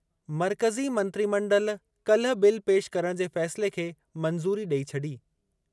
मर्कज़ी मंत्रिमंडल काल्हि बिल पेशि करणु जे फ़ैसिले खे मंज़ूरी ॾेई छॾी।